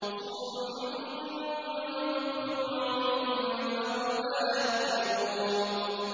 صُمٌّ بُكْمٌ عُمْيٌ فَهُمْ لَا يَرْجِعُونَ